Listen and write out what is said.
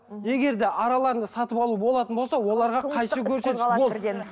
егер де араларында сатып алу болатын болса оларға қайшы